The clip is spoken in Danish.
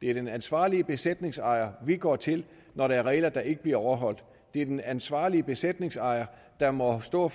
det er den ansvarlige besætningsejer vi går til når der er regler der ikke bliver overholdt det er den ansvarlige besætningsejer der må stå